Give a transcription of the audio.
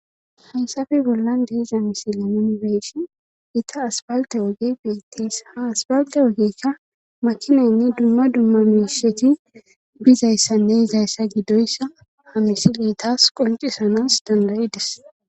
haysafe bollan deeza misi la nonibeshi ita asbalte ogey beetteys ha asbalte ogeykka makinaynne dumma dumma misheti bizayssanne izayssa gidoyssa ha misileytas qoncisanas dandayides